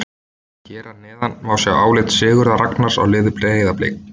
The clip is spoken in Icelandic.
Hér að neðan má sjá álit Sigurðar Ragnars á liði Breiðablik.